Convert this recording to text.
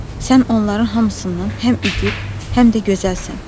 Sən onların hamısından həm igid, həm də gözəlsən.